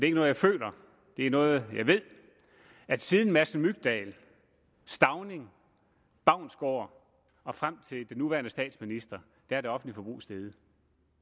er noget jeg føler det er noget jeg ved at siden madsen mygdal stauning baunsgaard og frem til den nuværende statsminister er det offentlige forbrug steget